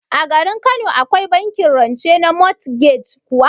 A garin Kano Akwai bankin rance na motgej kuwa?